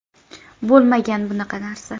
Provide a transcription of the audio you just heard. Bo‘lmagan bunaqa narsa.